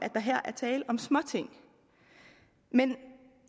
der her er tale om småting men